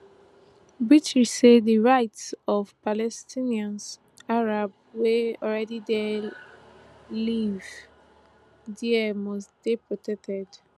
british say di rights of palestinian arabs wey already dey livie dia must dey protected